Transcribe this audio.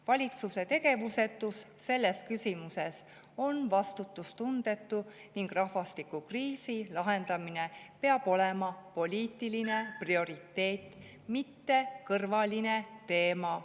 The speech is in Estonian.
Valitsuse tegevusetus selles küsimuses on vastutustundetu ning rahvastikukriisi lahendamine peab olema poliitiline prioriteet, mitte kõrvaline teema.